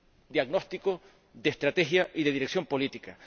diagnóstico, de estrategia y de dirección política.